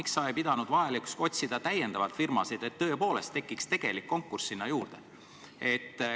Miks sa ei pidanud vajalikuks otsida täiendavalt firmasid, et tõepoolest tekiks tegelik konkurss?